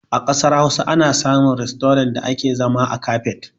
A ƙasar Hausa ana samun rastorant da ake zama a kafet.